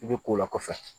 I bɛ ko o la kɔfɛ